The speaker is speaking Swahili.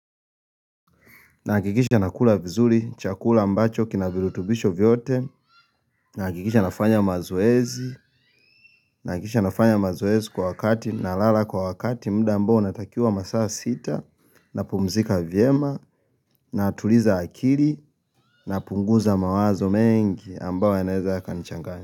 Nahakikisha nakula vizuri, chakula ambacho, kina viribitubisho vyote, nahakikisha nafanya mazoezi, nahakikisha nafanya mazoezi kwa wakati, nalala kwa wakati muda ambao natakiwa masaa sita, napumzika vyema, natuliza akili, napunguza mawazo mengi, ambao yeneza yakanichangani.